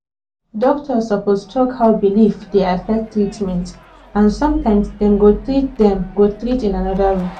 doctor suppose talk how belief dey affect treatment and sometimes dem go treat dem go treat in another way